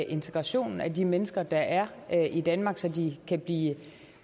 integrationen af de mennesker der er i danmark så de kan blive